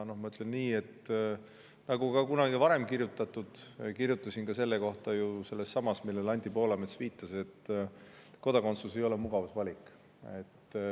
Ma ütlen nii, nagu kunagi varem on kirjutatud ja kirjutasin selle kohta ju ka sellessamas, millele Anti Poolamets viitas, et kodakondsus ei ole mugavusvalik.